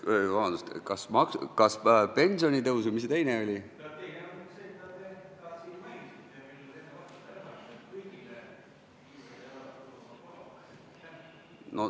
Vabandust, pensionitõus ja mis see teine oli?